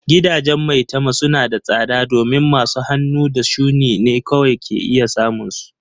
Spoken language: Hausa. Gidajen maitama suna da tsada domin masu hannu da shuni ne kawai ke iya samun su.